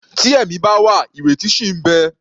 Tí ẹ̀mí bá wà, ìrètí ṣì ń bẹ.